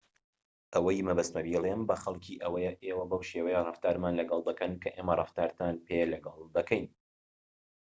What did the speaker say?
ئەوەی مەبەستمە بیڵێم بە خەڵكی ئەوەیە ئێوە بەو شێوەیە ڕەفتارمان لەگەڵ دەکەن کە ئێمە ڕەفتارتان پێ لەگەڵ دەکەین